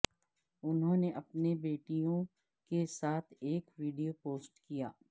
انہوں نے اپنی بیٹیوں کے ساتھ ایک ویڈیو پوسٹ کیا